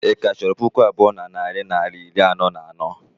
Ị ka chọrọ puku abụọ na narị naịra iri anọ na anọ?